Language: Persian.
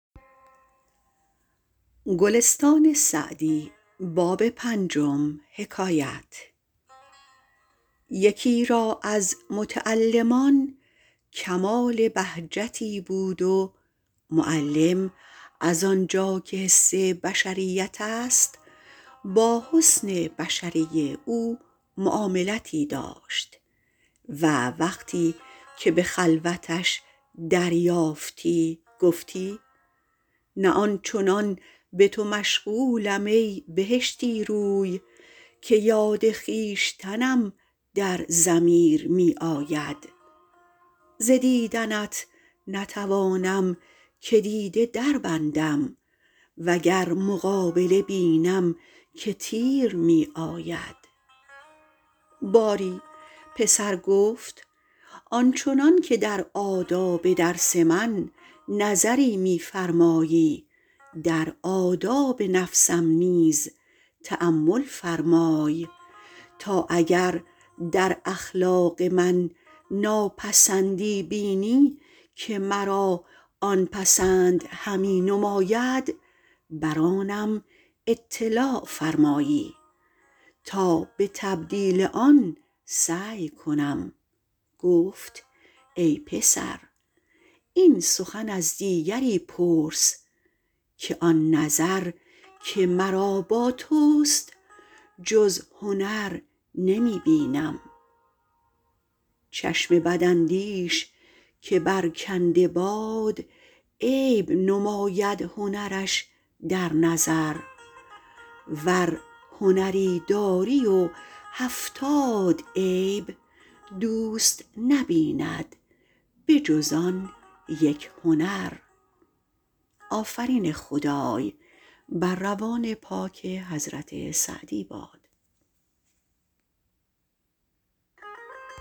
یکی را از متعلمان کمال بهجتی بود و معلم از آن جا که حس بشریت است با حسن بشره او معاملتی داشت و وقتی که به خلوتش دریافتی گفتی نه آن چنان به تو مشغولم ای بهشتی روی که یاد خویشتنم در ضمیر می آید ز دیدنت نتوانم که دیده دربندم و گر مقابله بینم که تیر می آید باری پسر گفت آن چنان که در آداب درس من نظری می فرمایی در آداب نفسم نیز تأمل فرمای تا اگر در اخلاق من ناپسندی بینی که مرا آن پسند همی نماید بر آنم اطلاع فرمایی تا به تبدیل آن سعی کنم گفت ای پسر این سخن از دیگری پرس که آن نظر که مرا با توست جز هنر نمی بینم چشم بداندیش که برکنده باد عیب نماید هنرش در نظر ور هنری داری و هفتاد عیب دوست نبیند به جز آن یک هنر